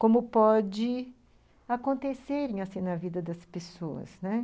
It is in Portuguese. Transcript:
Como pode acontecerem assim na vida das pessoas, né?